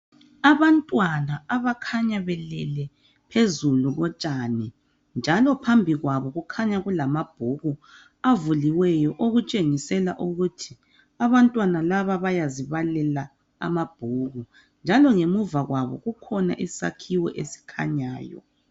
Abantwana abakhanya belele phezulu kotshani, njalo phambi kwabo kukhanya kulamabhuku, avuliweyo. Okutshingisela ukuthi abantwana laba bayazibalela amabhuku, njalo ngemuva kwabo kukhona isakhiwo esikhanyayo.